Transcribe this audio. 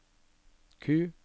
Q